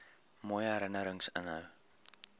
mooi herinnerings inhou